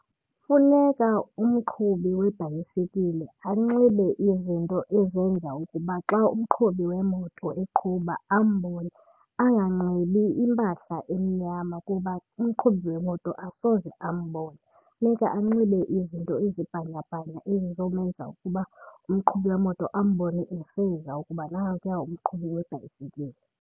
Funeka umqhubi webhayisikile anxibe izinto ezenza ukuba xa umqhubi wemoto eqhuba ambone. Anganxibi impahla emnyama kuba umqhubi wemoto asoze ambone. Funeka anxibe izinto ezibhanyabhanya ezizomenza ukuba umqhubi wemoto ambone eseza ukuba nankuya umqhubi webhayisikile.